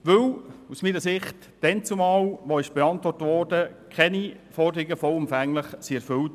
Aus meiner Sicht wurde zum Zeitpunkt der Beantwortung keine der Forderungen vollumfänglich erfüllt.